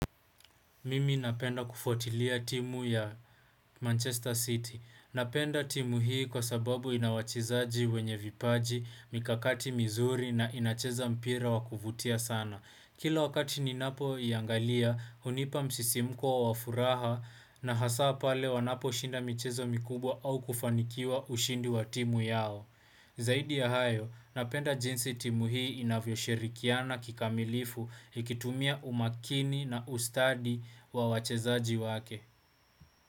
Mimi napenda kufyatilia timu ya Manchester City. Napenda timu hii kwa sababu inawachezaji wenye vipaji, mikakati mizuri na inacheza mpira wakuvutia sana. Kila wakati ni napo iangalia, unipa msisimko wa wafuraha na hasa pale wanapo shinda mchezo mikubwa au kufanikiwa ushindi wa timu yao. Zaidi ya hayo, napenda jinsi timuhii inavyo shirikiana kikamilifu ikitumia umakini na ustadi wa wachezaji wake.